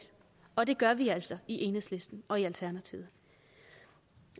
og det gør vi altså i enhedslisten og i alternativet